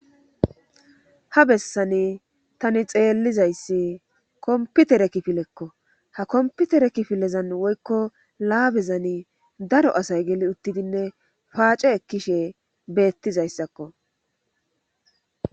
Ha bessani tani xeellizayssi kompitere kifilekko ha komputere kifilezan woykko laabezani daro asay geli uttidinne paace ekkishe beettizayssakko.